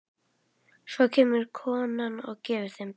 Svo kemur konan og gefur þeim brauð.